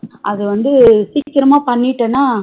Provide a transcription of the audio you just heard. அது வந்து சீக்கிரமா பண்ணிட்டனா